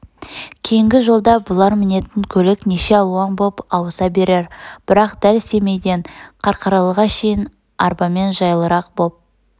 кейнгі жолда бұлар мінетін көлік неше алуан боп ауыса берер бірақ дәл семейден қарқаралыға шейін арбамен жайлырақ боп